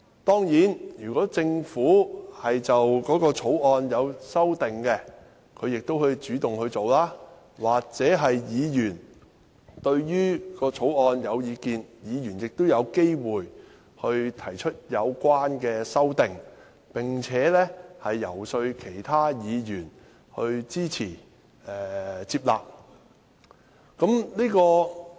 當然，如果政府擬修訂條例草案，可以主動提出，而議員對於條例草案有意見，亦有機會提出有關的修正案，並且遊說其他議員支持和接納。